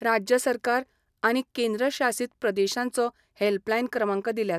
राज्य सरकार आनी केंद्र शासीत प्रदेशांच हॅल्पलायन क्रमांक दिल्यात.